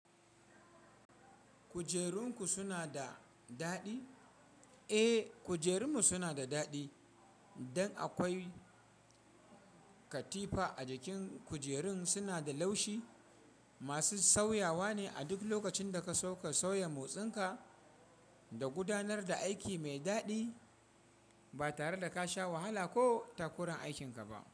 Kujerunku sunada daɗi? Eh, kujerunmu sunada daɗi. Dan akwai katifa a jikin kujerun suna da laushi, masu sauyawane a duk lokacinda kaso ka sauya motsinka da gudanar da aiki mai daɗi ba tareda kasha wahala ko takuran aikinka ba.